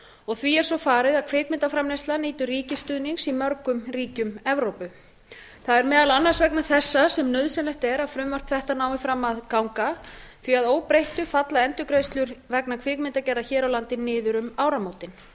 og því er svo farið að kvikmyndaframleiðsla nýtur ríkisstuðnings í mörgum ríkjum evrópu það er meðal annars vegna þessa sem nauðsynlegt er að frumvarp þetta nái fram að ganga því að að óbreyttu falla endurgreiðslur vegna kvikmyndagerðar hér á landi niður um áramótin